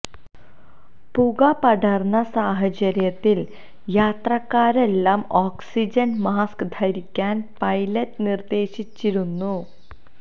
പുക പടര്ന്ന സാഹചര്യത്തില് യാത്രക്കാരെല്ലാം ഓക്സിജന് മാസ്ക് ധരിക്കാന് പൈലറ്റ് നിര്ദേശിച്ചിരുന്നു